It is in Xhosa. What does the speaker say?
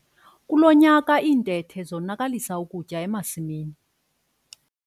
Kulo nyaka iintethe zonakalisa ukutya emasimini.